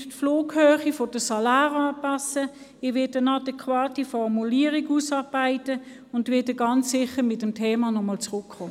Ich werde die Flughöhe der Saläre anpassen, ich werde eine adäquate Formulierung ausarbeiten und werde ganz sicher mit dem Thema wiederkommen.